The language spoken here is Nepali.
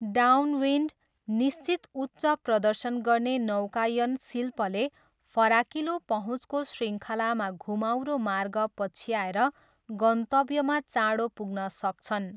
डाउनविन्ड, निश्चित उच्च प्रदर्शन गर्ने नौकायन शिल्पले फराकिलो पहुँचको शृङ्खलामा घुमाउरो मार्ग पछ्याएर गन्तव्यमा चाँडो पुग्न सक्छन्।